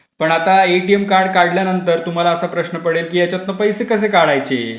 पण आता ATM card काढल्यानंतर तुम्हाला असा प्रश्न पडेल की याच्यातं पैसे कसे काढायचे ?